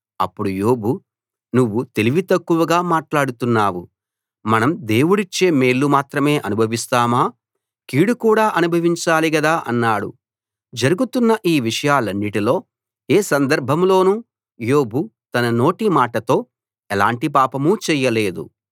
అప్పుడు యోబు నువ్వు తెలివి తక్కువగా మాట్లాడుతున్నావు మనం దేవుడిచ్చే మేళ్ళు మాత్రమే అనుభవిస్తామా కీడు కూడా అనుభవించాలి గదా అన్నాడు జరుగుతున్న ఈ విషయాలన్నిటిలో ఏ సందర్భంలోనూ యోబు తన నోటిమాటతో ఎలాంటి పాపమూ చేయలేదు